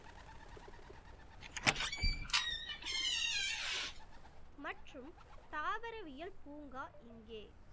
மற்றும் தாவரவியல் பூங்கா இங்கே